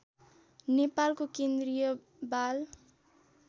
नेपालको केन्द्रीय बाल